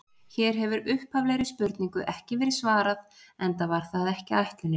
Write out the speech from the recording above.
Hér hefur upphaflegri spurningu ekki verið svarað, enda var það ekki ætlunin.